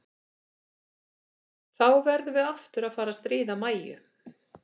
Þá verðum við aftur að fara að stríða Mæju.